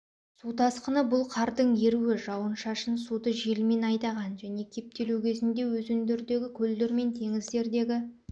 су тасқыны бұл қардың еруі жауын-шашын суды желмен айдаған және кептелу кезінде өзендердердегі көлдер мен теңіздердегі